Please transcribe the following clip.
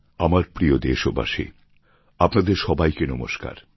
আমার প্রিয় দেশবাসী আপনাদের সবাইকে নমস্কার